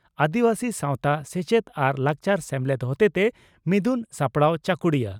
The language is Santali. ᱟᱹᱫᱤᱵᱟᱹᱥᱤ ᱥᱟᱣᱛᱟ ᱥᱮᱪᱮᱫ ᱟᱨ ᱞᱟᱠᱪᱟᱨ ᱥᱢᱮᱞᱮᱫ ᱦᱚᱛᱮᱛᱮ ᱢᱤᱫᱩᱱ ᱥᱟᱯᱲᱟᱣ ᱪᱟᱠᱩᱲᱤᱭᱟᱹ